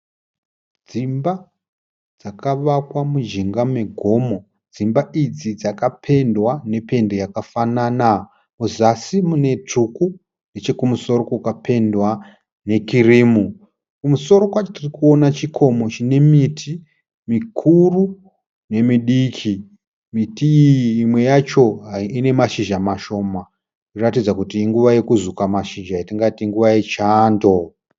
Dzimba dzakavakwa mujinga megomo. Dzimba idzi dzakapendwa nependi yakafanana. Kuzasi mune tsvuku nechekumusoro kukapendwa nekirimu. Kumusoro kwacho tiri kuona chikomo chine miti mikuru nemidiki. Miti iyi mimwe yacho ine mashizha mashoma zvinoratidza kuti inguva yekuzuka mashizha yatingati nguva yechando.